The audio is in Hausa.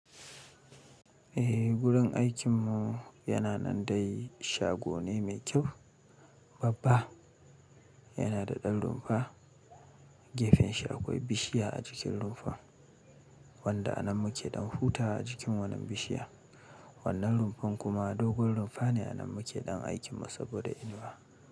Eh, gurin aikinmu yana nan dai. Shago ne mai kyau, babba. Yana da ɗan rumfa. Gefen shi akwai bishiya a jikin rumfan wanda anan muke ɗan hutawa a jikin wannan bishiya. Wannan rumfan kuma dogon rumfa ne, anan muke ɗan aikinmu saboda inuwa.